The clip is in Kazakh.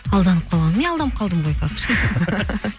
алданып қалған міне алданып қалдым ғой қазір